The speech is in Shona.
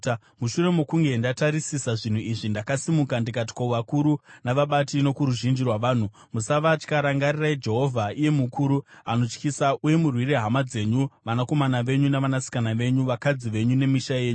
Mushure mokunge ndatarisisa zvinhu izvi, ndakasimuka ndikati kuvakuru, navabati nokuruzhinji rwavanhu, “Musavatya. Rangarirai Jehovha, iye mukuru, anotyisa, uye murwire hama dzenyu, vanakomana venyu, navanasikana venyu, vakadzi venyu nemisha yenyu.”